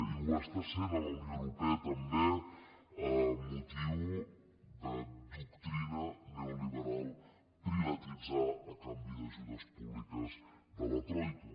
i ho és a la unió europea també amb motiu de la doctrina neoliberal privatitzar a canvi d’ajudes públiques de la troica